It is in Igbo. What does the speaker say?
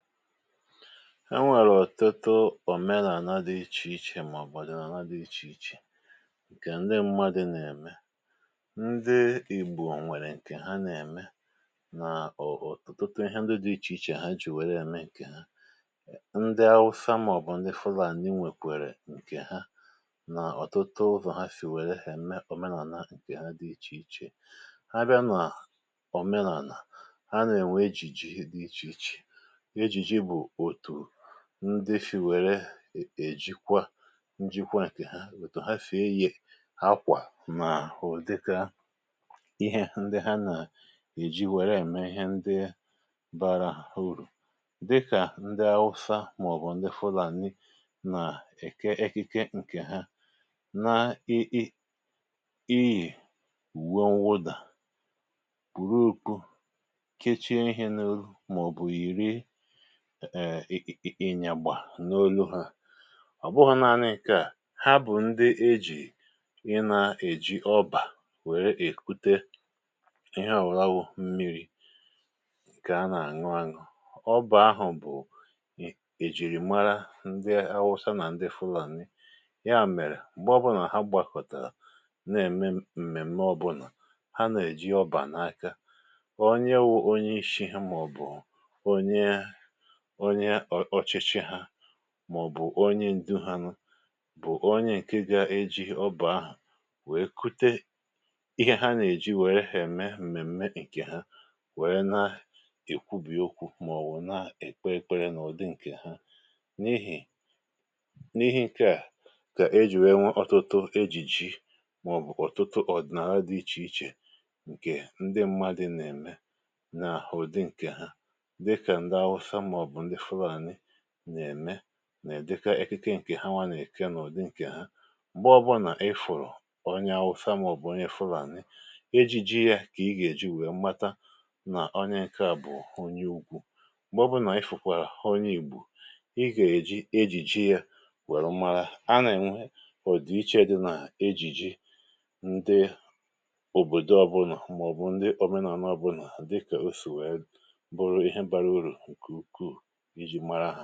E nwèrè ọ̀tụtụ òmenàna dị ic1hè ichè màọ̀bụ̀ odịnàna dị ichè ichè ǹkè ndị mmadụ̇ nà-ème. Ndị igbò nwèrè ǹkè ha nà-ème nà ọ̀tụ ọtụtụ ihe ndị dị ichè ichè ha jì wère ème ǹkè ha, ndị awusa màọ̀bụ̀ ndị fụlani nwèkwèrè ǹkè ha nà ọ̀tụtụ ụzọ̀ ha sì wère ème òmenàna ǹkè ha dị ichè ichè. A bịa nà òmenàna a nà-ènwe ejìjì dị ichè ichè, ejiji bụ otu ndi si wère ejikwa njikwa ǹkè ha, otu ha si-eyi akwà nà udika ihe ndi ha nà-èji wère ème ihe ndi bara urù. Dikà ndị awusa màọbụ ndi fụlàni nà-èke ekike ǹkè ha na ị ị iyi uwe nwụdà, pùru okpu, kechie ihė n'olu maọbụ ị ị iyiri ịnyagbà n’olu hȧ, ọ̀ bụghọ̇ naȧnị̇ nke à, ha bụ̀ ndị ejì ị nà-èji ọbà wèrè èkwute ihe ọ̀wụla wụ̀ mmiri̇ nkè a nà-àṅụ aṅụ̀, ọbà ahụ̀ bụ̀ è jìrì mara ndị awụsa nà ndị fụlani, ya mèrè m̀gbè ọbụlà ha gbàkọ̀tàrà na-ème m̀mèm̀me ọbụlà, ha nà-èji ọbà n’aka, onye wụ̇ onye ishi ha màọ̀bụ̀ onye onye ọchịchị hà màọ̀bụ̀ onye ǹdụ ha nụ bụ̀ onye ǹke gȧ-eji ọba ahụ̀ nwèe kute ihe ha nà-èji nwere ha m̀mèmme ǹkè ha nwère na-èkwubì okwu̇ màọ̀bụ̀ na-èkpe ekpere n’ụ̀dị ǹkè ha n’ihì n’ihe ǹkè a kà ejì wee nwee ọ̀tụtụ ejìji maọbụ ọtụtụ ọ̀dị̀nàlà dị̇ ichè ichè ǹkè ndị ṁmȧdị̇ nà-ème nà ụ̀dị ǹkè ha, dịka nde awụsa maọbụ ndị fulani na-eme nà-udika ekike ǹkè ha nwa nà-èke n’ụ̀dị ǹkè ha m̀gbe ọbụnà ifụ̀rụ̀ onye awụsa mȧobụ̀ onye fụlànị ejiji yȧ kà ị gà-èji wèe mata nà onye ǹke à bụ̀ onye ugwu, m̀gbe ọbụnà ifụ̀kwàrà onye ìgbò ị gà-èji ejìji yȧ wèrè marȧ, a nà-ènwe ụ̀dị̀ ichė dị nà ejìji ǹdị òbòdo ọbụnà màọ̀bụ̀ ndị òmenàlà obụnà dịkà osì wee bụrụ ihe bara urù nke ukwuu iji mara ha.